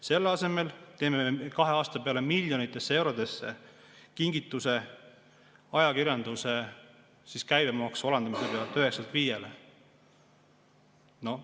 Selle asemel teeme kahe aasta peale miljonitesse eurodesse ulatuva kingituse ajakirjanduse käibemaksu alandamisega 9%‑lt 5%‑le.